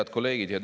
Head kolleegid!